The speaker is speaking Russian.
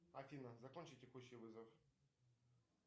афина закончи текущий вызов